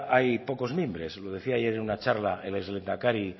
hay pocos mimbres lo decía ayer en una charla el exlehendakari